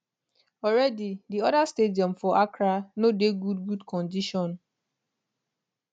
already di oda stadium for accra no dey good good condition